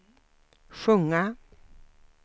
sjunga